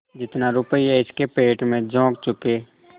जितना रुपया इसके पेट में झोंक चुके